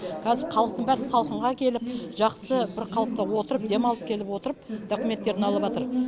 қазір халықтың бәрі салқынға келіп жақсы бір қалыпта отырып демалып келіп отырып документтерін